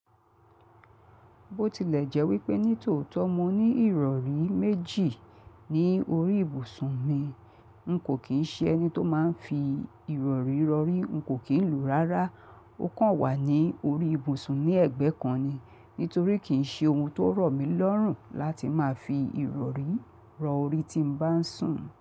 Bó tilẹ̀ jẹ́ wípé nítòótọ́ mo ní ìrọ̀rí méjì ní orí ìbùsùn mi, n kò kí ń ṣe ẹni tó máa ń fi ìrọ̀rí rọ̀rí, n kò kí ń lo o rárá. Ó kàn wà ní orí ìbùsùn ní ẹ̀gbẹ́ kan ni. Nítorí kì í ṣe ohun tó rọ̀ mí lọ́rùn láti máa fi ìrọ̀rí rọ orí tí mo bá ń sùn.